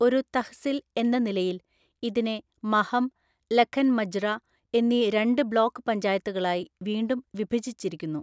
ഒരു തഹ്സിൽ എന്ന നിലയിൽ, ഇതിനെ മഹം, ലഖൻ മജ്റ എന്നീ രണ്ട് ബ്ലോക്ക് പഞ്ചായത്തുകളായി വീണ്ടും വിഭജിച്ചിരിക്കുന്നു.